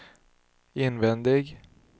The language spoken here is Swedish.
invändig